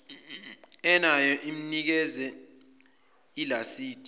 enayo mnikeze ilasidi